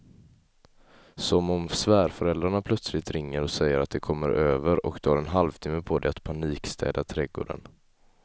Som om svärföräldrarna plötsligt ringer och säger att de kommer över och du har en halvtimme på dig att panikstäda trädgården.